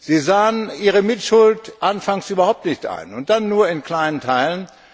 Sie sahen ihre Mitschuld anfangs überhaupt nicht ein und dann nur in kleinen Teilen.